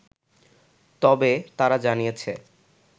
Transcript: তবে, তারা জানিয়েছে